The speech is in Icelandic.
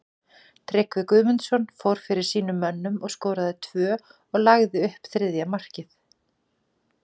Tryggvi Guðmundsson fór fyrir sínum mönnum og skoraði tvö og lagði upp þriðja markið.